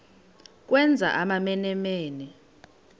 ukwenza amamene mene